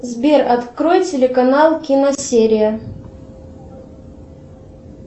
сбер открой телеканал киносерия